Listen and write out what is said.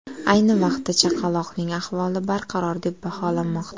Ayni vaqtda chaqaloqning ahvoli barqaror deb baholanmoqda.